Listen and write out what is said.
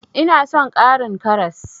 Ina son ƙarin karas.